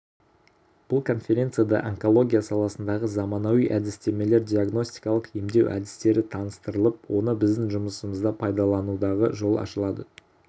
бұл конференцияда онкология саласындағы заманауи әдістемелер диагностикалық емдеу әдістері таныстырылып оны біздің жұмысымызда пайдалануға жол ашылады